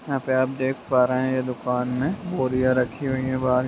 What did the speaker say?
यहाँ पे आप देख पा रहे हैं यह दुकान में बोरियाँ रखी हुई हैं बाहर --